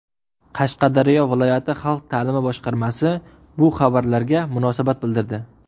Qashqadaryo viloyati xalq ta’limi boshqarmasi bu xabarlarga munosabat bildirdi.